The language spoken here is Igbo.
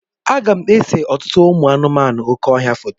Aga m ese ọtụtụ ụmụ anụmanụ oké ọhịa foto.